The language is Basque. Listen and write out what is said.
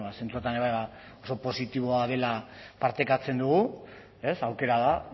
zentzu horretan ere oso positiboa dela partekatzen dugu ez aukera da